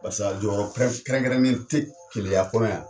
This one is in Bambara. Barisa a jɔyɔrɔ kɛrɛnkɛrɛnnen te Keleya kɔnɔ yan.